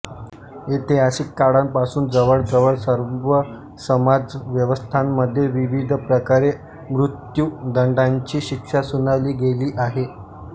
ऐतिहासिक काळांपासून जवळजवळ सर्व समाज व्यवस्थांमध्ये विविध प्रकारे मृत्युदंडाची शिक्षा सुनावली गेली आहे